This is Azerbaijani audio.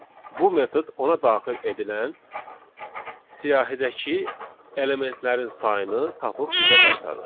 Bu metod ona daxil edilən siyahıdakı elementlərin sayını tapıb bizə qaytarır.